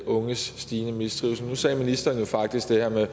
unges stigende mistrivsel nu sagde ministeren jo faktisk det her med at